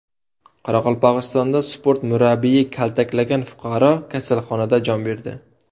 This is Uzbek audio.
Qoraqalpog‘istonda sport murabbiyi kaltaklagan fuqaro kasalxonada jon berdi.